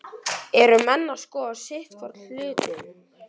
Eru menn að skoða sitthvorn hlutinn?